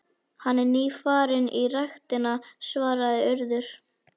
Hann er nýfarinn í ræktina- svaraði Urður.